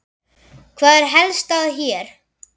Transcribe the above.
Hvað er helst að hér?